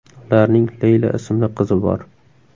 Ularning Leyla ismli qizi bor.